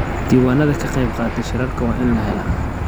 Diiwaanada ka qaybqaataha shirarka waa in lahelaa.